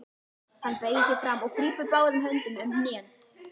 Hann beygir sig fram og grípur báðum höndum um hnén.